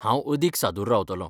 हांव अदीक सादूर रावतलों.